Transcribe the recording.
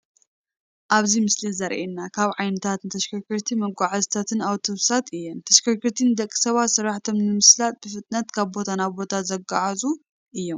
ኣብዚ ምስሊ እዚ ዘሪኤና ካብ ዓይነታት ተሽከርከርትን መጓዓዓዝትን ኣቡቶቡሳት እየን፡፡ ተሸርከርቲ ንደቂ ሰባት ስራሕቶም ንምስላጥ ብፍጥነት ካብ ቦታ ናብ ቦታ ዘጓዓዕዙ እዩም፡፡